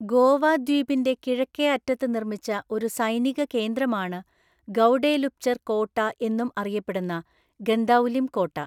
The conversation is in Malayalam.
ഗോവ ദ്വീപിന്റെ കിഴക്കേ അറ്റത്ത് നിർമ്മിച്ച ഒരു സൈനിക കേന്ദ്രമാണ് ഗൗഡെലുപ്ചർ കോട്ട എന്നും അറിയപ്പെടുന്ന ഗന്ദൌലിം കോട്ട.